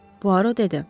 Puaro dedi.